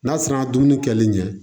N'a surunya na dumuni kɛlen